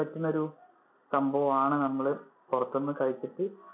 പറ്റുന്ന ഒരു സംഭവം ആണ് നമ്മള് പുറത്തു നിന്ന് കഴിച്ചിട്ട്.